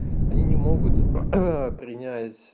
они не могут принять